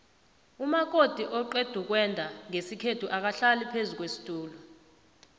umakoti oqedukwenda nqesikhethu akahlali phezukwesitula